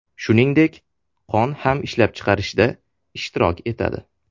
Shuningdek, qon ham ishlab chiqarishda ishtirok etadi.